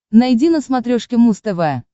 найди на смотрешке муз тв